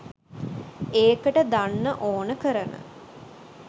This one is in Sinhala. ඒකට දන්න ඕන කරන